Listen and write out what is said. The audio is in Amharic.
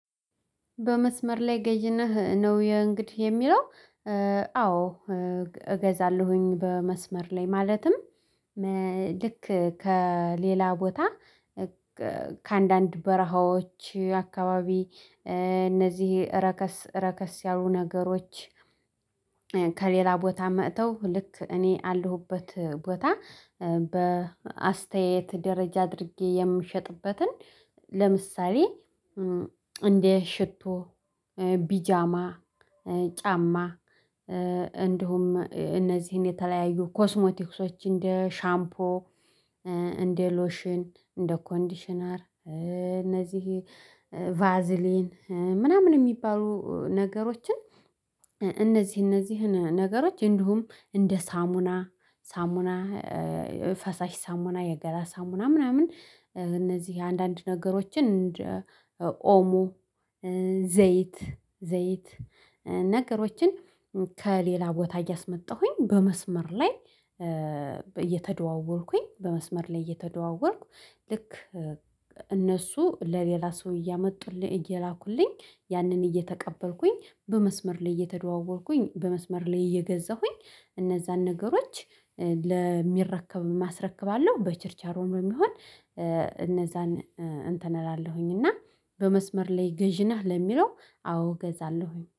በመስመር ላይ ገይነህ ነው የእንግዲህ የሚለው። አዎ እገዛለሁኝ በመስመር ላይ ማለትም። ልክ ከሌላ ቦታ ከአንዳንድ በረሃዎች አካባቢ እነዚህ ረከስ ረከስ ያሉ ነገሮች። ከሌላ ቦታ መጥተው ልክ እኔ አለሁበት ቦታ በአስተያየት ደረጃ አድርጌ የምሸጥበትን። ለምሳሌ እንደ ሽቶ ቢጃማ ጫማ እንዲሁም እነዚህን የተለያዩ ኮስሞቲክሶች እንደ ሻምፖ እንደ ሎሽን እንደ ኮንዲሽነር እነዚህ ቫዝሊን ምናምን የሚባሉ ነገሮችን። እነዚህ እነዚህን ነገሮች እንዲሁም እንደ ሳሙና ሳሙና ፈሳሽ ሳሙና የገላ ሳሙና ምናምን እነዚህ አንዳንድ ነገሮችን እንደ ኦሞ ዘይት ዘይት ነገሮችን። ከሌላ ቦታ እያስመጣሁኝ በመስመር ላይ እየተደዋወልኩኝ በመስመር ላይ እየተደዋወልኩ ልክ እነሱ ለሌላ ሰው እያመጡልኝ እየላኩልኝ ያንን እየተቀበልኩኝ በመስመር ላይ እየተደዋወልኩኝ በመስመር ላይ እየገዛሁኝ እነዛን ነገሮች። ለሚረከብም አስረክባለሁ በችርቻሮም የሚሆን እነዛን እንትን እላለሁኝ። እና በመስመር ላይ ገዢ ነህ ለሚለው አዎ እገዛለሁኝ